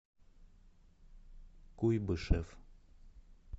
куйбышев